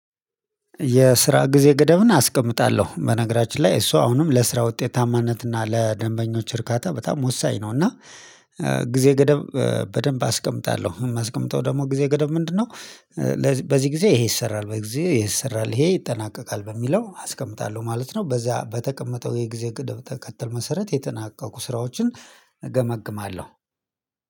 የስራ ጊዜ ገደብን አስቀምጣለሁ በነገራችን ላይ እሱ አሁንም ለስራ ውጤታማነት እና ለደንበኞች እርካታ በጣም ወሳኝ ነው። እና ጊዜ ገደብ በደንብ አስቀምጣለሁ የማስቀምጠው ደግሞ ጊዜ ገደብ ምንድነው? በዚህ በዚህ ጊዜ ይሄ ይሰራል በዚህ ይሄ ይሰራል ይሄ ይጠናቀቃል በሚለው አስቀምጣለሁ ማለት ነው። በዛ በተቀመጠው የጊዜ ቅድም ተከትል መሰረት የተናቀቁ ስራዎችን እገመግማለሁ።